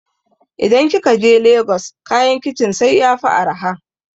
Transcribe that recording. idan kikaje lagos kayan kicin sai yafi araha